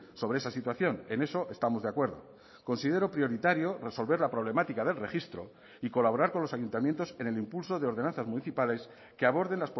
sobre esa situación en eso estamos de acuerdo considero prioritario resolver la problemática del registro y colaborar con los ayuntamientos en el impulso de ordenanzas municipales que aborden